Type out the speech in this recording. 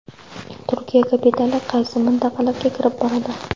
Turkiya kapitali qaysi mintaqalarga kirib boradi?